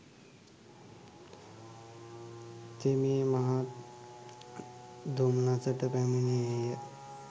තෙමේ මහත් දොම්නසට පැමිණියේ ය.